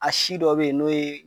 A si dɔ be yen, n'o ye